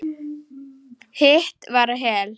Hitt var Hel.